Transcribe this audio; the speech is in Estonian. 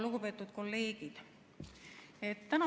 Lugupeetud kolleegid!